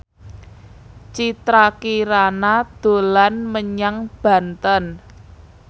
Citra Kirana dolan menyang Banten